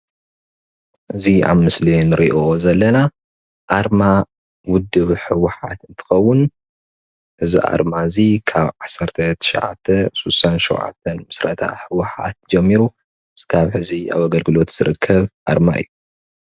እዚ ኣብ ምስሊ እንሪኦ ዘለና ኣርማ ውድብ ህወሓት እንትኸውን እዚ ኣርማ እዚ ካብ 1967 ምስረታ ህወሓት ጀሚሩ ክሳብ ሕዚ ኣብ ኣገልግሎት ዝርከብ ኣርማ እዩ፡፡